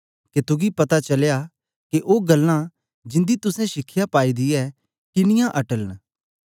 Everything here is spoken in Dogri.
के तुगी पता चलया के ओ गल्लां जिंदी तुसें शिखया पाई दी ऐ किनीयां अटल न